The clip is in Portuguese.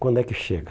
Quando é que chega?